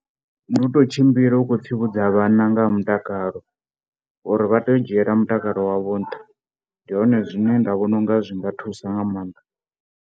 Ndi u tou tshimbila u khou tsivhudza vhana nga ha mutakalo uri vha tea u dzhiela mutakalo wavho nṱha, ndi hone zwine nda vhona u nga zwi nga thusa nga maanḓa.